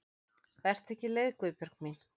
Vertu ekki leið Guðbjörg mín.